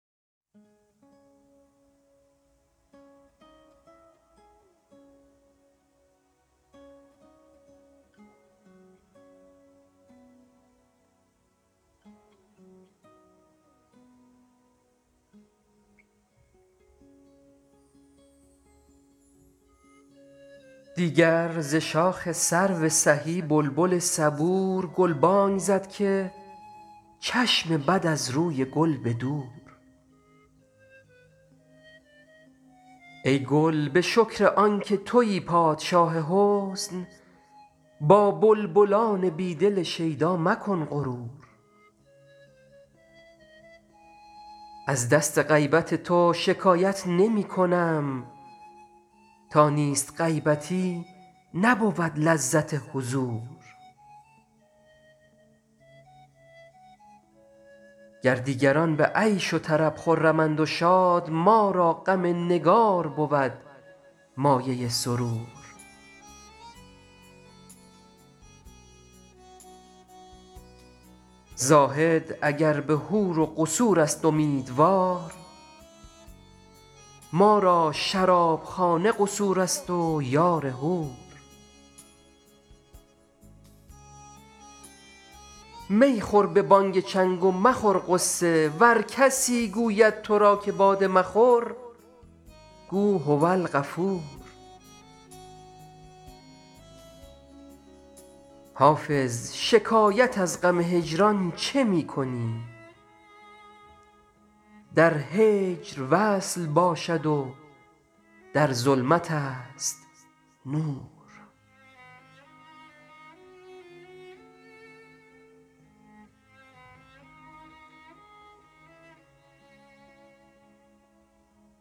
دیگر ز شاخ سرو سهی بلبل صبور گلبانگ زد که چشم بد از روی گل به دور ای گل به شکر آن که تویی پادشاه حسن با بلبلان بی دل شیدا مکن غرور از دست غیبت تو شکایت نمی کنم تا نیست غیبتی نبود لذت حضور گر دیگران به عیش و طرب خرمند و شاد ما را غم نگار بود مایه سرور زاهد اگر به حور و قصور است امیدوار ما را شرابخانه قصور است و یار حور می خور به بانگ چنگ و مخور غصه ور کسی گوید تو را که باده مخور گو هوالغفور حافظ شکایت از غم هجران چه می کنی در هجر وصل باشد و در ظلمت است نور